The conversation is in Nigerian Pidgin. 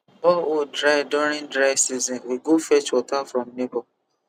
borehole dry during dry season we go fetch water from neighbor